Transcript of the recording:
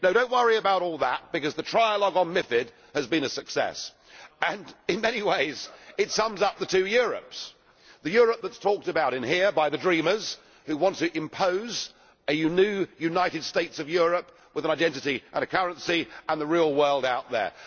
No, do not worry about all that, because the trialogue on MiFID has been a success, and in many ways it sums up the two Europes the Europe that is talked about in here by the dreamers, who want to impose a united states of Europe with an identity and currency, and the real world out there.